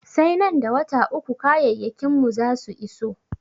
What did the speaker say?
Sai nan da wata uku kayayyakin mu za su iso.